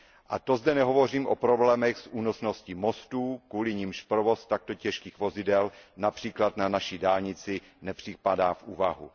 A to zde nehovořím o problémech s únosností mostů, kvůli nimž provoz takto těžkých vozidel například na naší dálnici nepřipadá v úvahu.